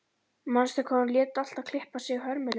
Manstu hvað hún lét alltaf klippa sig hörmulega.